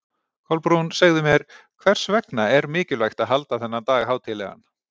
Kolbrún, segðu mér, hvers vegna er mikilvægt að halda þennan dag hátíðlegan?